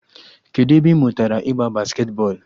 Kedụ ebe ị mụtara ịgba basketi bọọlụ?